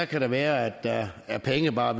kan det være der er penge i bare